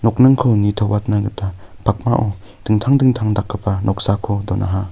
nokningko nitoatna gita pakmao dingtang dingtang dakgipa noksako donaha.